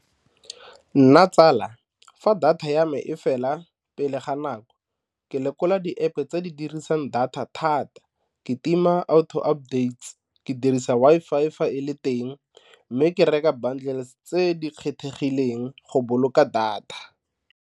Nna tsala, fa data ya me e fela pele ga nako ke lekola di-App tse di dirisang data thata ke tima auto updates, ke dirisa Wi-Fi fa e le teng mme ke reka bundles tse di kgethegileng go boloka data.